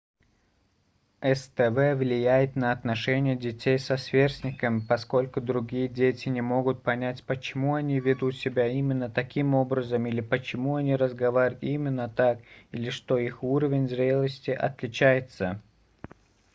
сдв влияет на отношения детей со сверстниками поскольку другие дети не могут понять почему они ведут себя именно таким образом или почему они разговаривают именно так или что их уровень зрелости отличается